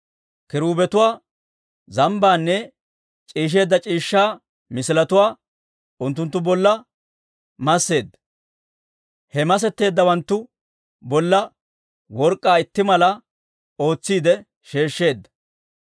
Kiruubetuwaa, zambbaanne c'iishsheedda c'iishshaa misiletuwaa unttunttu bolla masseedda; he masetteeddawanttu bolla work'k'aa itti mala ootsiide sheeshsheedda.